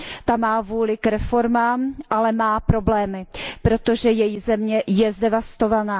Ta má vůli k reformám, ale má problémy, protože její země je zdevastovaná.